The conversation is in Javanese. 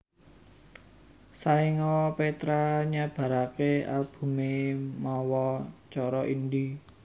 Saéngga Petra nyebaraké albumé mawa cara indie